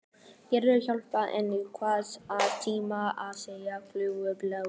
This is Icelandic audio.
Gerður hjálpaði henni við að tína af sér fagurgrænar blaðlýs.